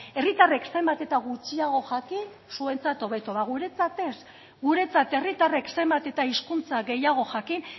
herritarrek zenbat eta gutxiago jakin zuentzat hobeto ba guretzat ez guretzat herritarrek zenbat eta hizkuntza gehiago jakin